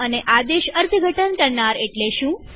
અને આદેશ અર્થઘટન કરનાર એટલે શું